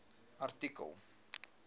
artikel